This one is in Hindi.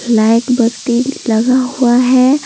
लाइट बत्ती लगा हुआ है।